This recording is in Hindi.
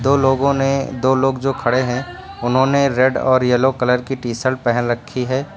लोगों ने दो लोग जो खड़े हैं उन्होंने रेड और येलो कलर की टी शर्ट पहन रखी है।